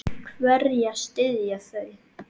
Hverja styðja þau?